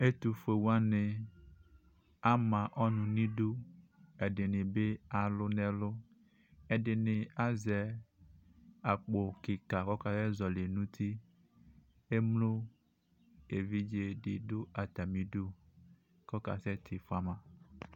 Ɛtʋfuewani ama ɔnʋ n'iɖʋ, ɛɖinibi alʋ n'ɛlʋ, ɛɖini azɛ akpo kika kɔkasɛ zɔli n'ʋtiEmlo evidzeɖi ɖʋ atamiɖʋ kɔkasɛ tifuama